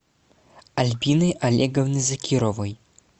альбины олеговны закировой